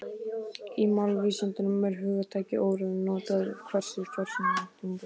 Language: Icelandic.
Í málvísindum er hugtakið óreiða notað um það hversu fyrirsjáanlegt tungumálið er.